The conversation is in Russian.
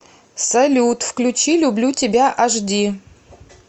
салют включи люблю тебя аш ди